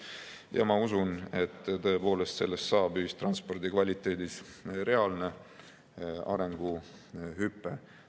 Ja ma usun, et tõepoolest toob see kaasa ühistranspordi kvaliteedis reaalse arenguhüppe.